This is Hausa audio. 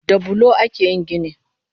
Da bulo ake yin gini